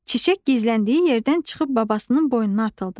Çiçək gizləndiyi yerdən çıxıb babasının boynuna atıldı.